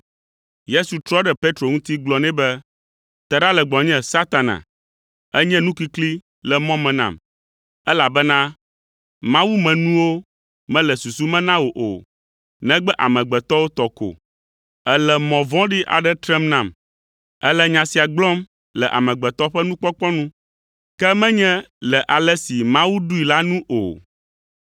Yesu trɔ ɖe Petro ŋuti gblɔ nɛ be, “Te ɖa le gbɔnye, Satana! Ènye nukikli le mɔ me nam, elabena Mawu me nuwo mele susu me na wò o, negbe amegbetɔwo tɔ ko. Èle mɔ vɔ̃ɖi aɖe trem nam. Èle nya sia gblɔm le amegbetɔ ƒe nukpɔkpɔ nu, ke menye le ale si Mawu ɖoe la nu o.”